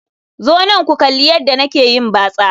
Zo nan ku kalli yadda nake yin batsa